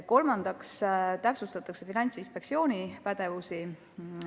Kolmandaks täpsustatakse Finantsinspektsiooni pädevust.